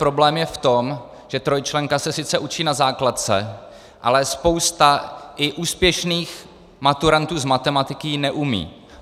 Problém je v tom, že trojčlenka se sice učí na základce, ale spousta i úspěšných maturantů z matematiky ji neumí.